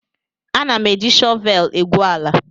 Ana m e ji shọvel egwu ala